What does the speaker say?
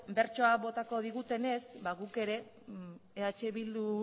bertsoa botako digutenez guk ere eh bildu